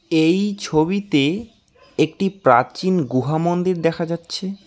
এই ছবিতে একটি প্রাচীন গুহা মন্দির দেখা যাচ্ছে।